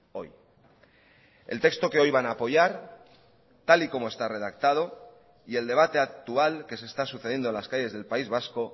hoy el texto que hoy van a apoyar tal y como está redactado y el debate actual que se está sucediendo en las calles del país vasco